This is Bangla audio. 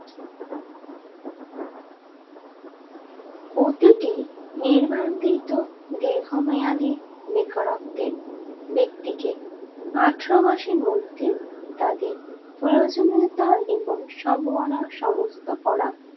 প্রতিটি নির্বাহীনত দীর্ঘমেয়াদি বেকারত্বে ব্যক্তিকে আঠারো মাসের মধ্যে তাদের প্রয়োজনতা এবং সম্ভবনা সমস্ত করা